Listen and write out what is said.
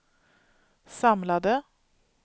samlade